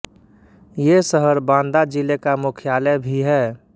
ये शहर बाँदा जिले का मुख्यालय भी है